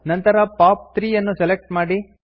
ನಂತರ ಪಾಪ್ 3 ಅನ್ನು ಸೆಲೆಕ್ಟ್ ಮಾಡಿ